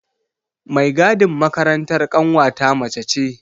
Mai gadin makarantar ƙanwata mace ce.